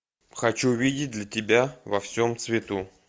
хочу видеть для тебя во всем цвету